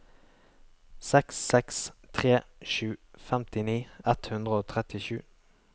seks seks tre sju femtini ett hundre og trettisju